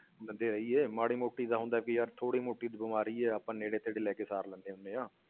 ਹੈ ਮਾੜੀ ਮੋਟੀ ਦਾ ਹੁੰਦਾ ਕਿ ਯਾਰ ਥੋੜ੍ਹੀ ਮੋਟੀ ਤਾਂ ਬਿਮਾਰੀ ਹੈ, ਆਪਾਂ ਨੇੜੇ ਤੇੜੇ ਲੈ ਕੇ ਸਾਰ ਲੈਂਦੇ ਹੁੰਦੇ ਹਾਂ।